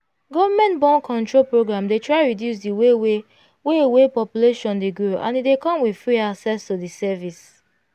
government born-control programdey try reduce the way wey way wey population dey grow and e dey come with free access to the service.